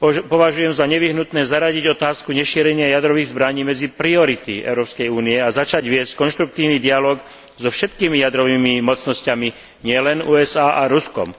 Považujem za nevyhnutné zaradiť otázku nešírenia jadrových zbraní medzi priority Európskej únie a začať viesť konštruktívny dialóg so všetkými jadrovými mocnosťami, nielen USA a Ruskom.